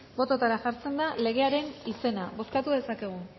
bototara jartzen da legearen izena bozkatu dezakegu